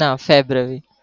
ના febuary